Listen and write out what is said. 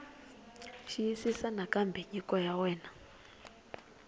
xiyisisisa nakambe nyiko ya wena